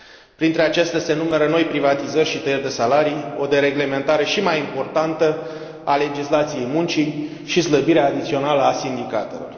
Printre acestea se numără noi privatizări și tăieri de salarii, o dereglementare și mai importantă a legislației muncii și slăbirea adițională a sindicatelor.